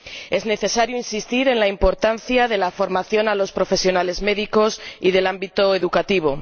Es necesario insistir en la importancia de la formación de los profesionales médicos y del ámbito educativo.